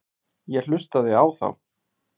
Ég hlustaði á þá.